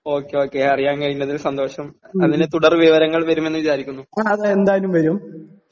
Okay okay അറിയാൻ കഴിഞ്ഞതിൽ സന്തോഷം അതിന് തുടർ വിവരങ്ങൾ വരുമെന്ന് വിചാരിക്കുന്നു.